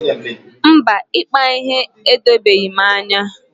Mba, ịkpa ihe edobeghị m anya.